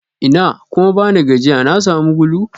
Ina kuma bani gajiya na sami gulu?